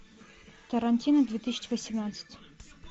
тарантино две тысячи восемнадцать